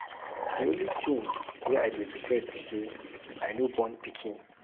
The only thing wey I dey regret be say I no born pikin.